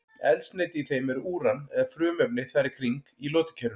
Eldsneyti í þeim er úran eða frumefni þar í kring í lotukerfinu.